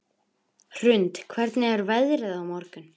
Hrund, hvernig er veðrið á morgun?